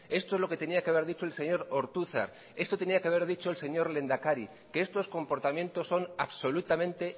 esto es lo que tenía que haber dicho el señor ortuzar esto tenía que haber dicho el señor lehendakari que estos comportamientos son absolutamente